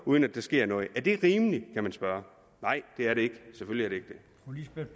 uden at der sker noget er det rimeligt kan man spørge nej det er det ikke selvfølgelig